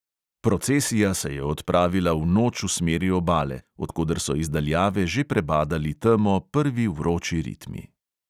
Procesija se je odpravila v noč v smeri obale, od koder so iz daljave že prebadali temo prvi vroči ritmi.